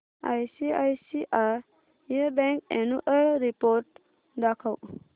ICICI bank annual report दाखव